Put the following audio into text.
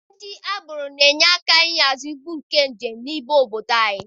Ndị agboro na-enye aka ịhazi ibu ndị njem n'ime ụgbọ ala.